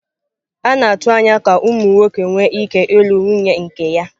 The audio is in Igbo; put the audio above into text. A na-atụ anya ka ụmụ nwoke nwee ike ịlụ nwunye nke ya.